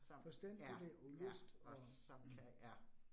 Som ja, ja, og som kan, ja